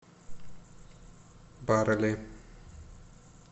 барели